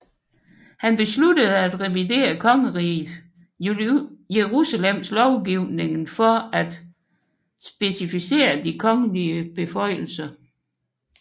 Han besluttede at revidere Kongeriget Jerusalems lovgivningen for at specificere de kongelige beføjelser